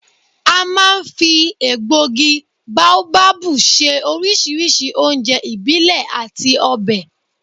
A máa ń fi egbògi bóábábù se oríṣiríṣi oúnjẹ ìbílẹ̀ àti ọbẹ̀